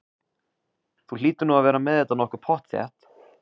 Þú hlýtur nú að vera með þetta nokkuð pottþétt?